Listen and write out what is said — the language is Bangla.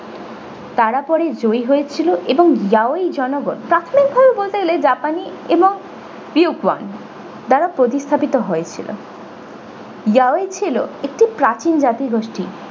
তারা পরে জয়ী হয়েছিল এবং yawn এর জনগণ প্রাথমিক ভাবে বলতে গেলে japanese এবং awaken যারা প্রতিস্থাপিত হয়েছিল yawn ছিল একটি প্রাচীন জাতি গোষ্ঠী।